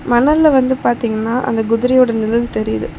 மணல்ல வந்து பாத்தீங்னா அந்த குதிரையோட நிழல் தெரிது.